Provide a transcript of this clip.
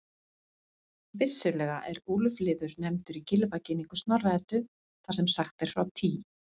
Vissulega er úlfliður nefndur í Gylfaginningu Snorra-Eddu þar sem sagt er frá Tý.